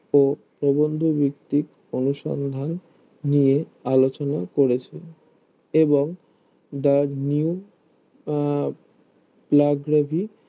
ও প্রবন্ধ বৃত্তিক অনুসন্ধান নিয়ে আলোচনা করেছে এবং the new আহ লোব্রোবি